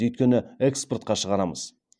өйткені экспортқа шығарамыз